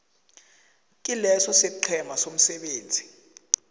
kileso isiqhema somsebenzi